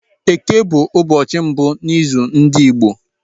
Eke bụ ụbọchị mbụ n’izu ndị Igbo.